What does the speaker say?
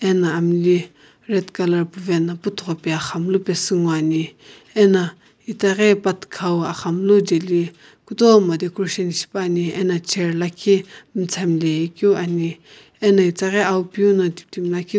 ana amli red colour puvae na puthoghi pae aghamlu pasu nguo ane ana itaghi pathika aghamlu jaeli kutomo decoration shipane ano chr miistam nae keu ane.